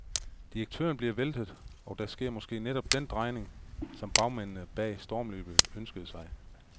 Direktører bliver væltet og der sker måske netop den drejning, som bagmændene bag stormløbet ønsker sig.